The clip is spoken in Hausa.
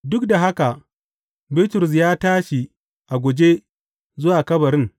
Duk da haka, Bitrus ya tashi a guje zuwa kabarin.